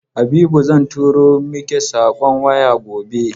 Habiba zan turo miki saƙon waya gobe.